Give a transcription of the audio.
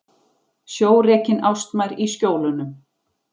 Sjórekin ástmær í Skjólunum.